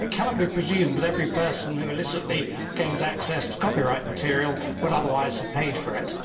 It cannot be presumed that every person who illicitly gains access to copyright material would otherwise have paid for it.